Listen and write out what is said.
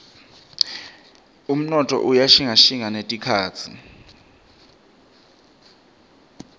umnotfo uya shintjashintja netikhatsi